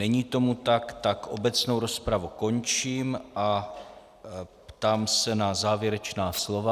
Není tomu tak, tak obecnou rozpravu končím a ptám se na závěrečná slova.